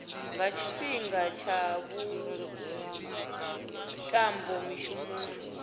nga tshifhinga tsha vhuṱambo mishumoni